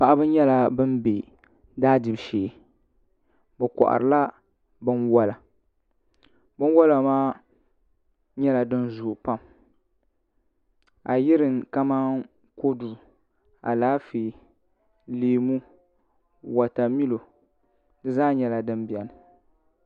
Paɣaba nyɛla bin bɛ daa dibu shee bi koharila binwola binwola maa nyɛla din zooi pam a yuli kamani kodu Alaafee leemu wotamilo di zaa nyɛla din biɛni